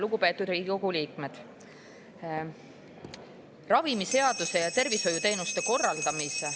Lugupeetud Riigikogu liikmed!